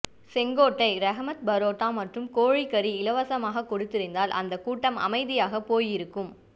செங்கோட்டை ரஹ்மத் பரோட்டா மற்றும் கோழி கரி இலவசமாக கொடுத்திருந்தால் அந்த கூட்டம் அமைதியாக போய் இருக்கும்